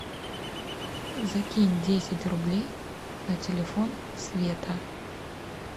закинь десять рублей на телефон света